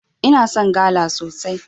Ina son gala sosai.